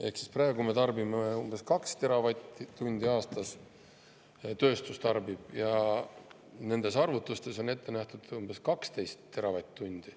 Ehk siis praegu tarbib tööstus umbes 2 teravatt‑tundi aastas ja arvutustes on ette nähtud umbes 12 teravatt‑tundi.